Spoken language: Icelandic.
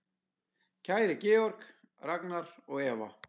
Kæri Georg, Ragnar og Eva.